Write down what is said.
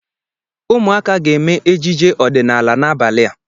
Ụmụaka ga-eme ejije odịnaala n'abalị a.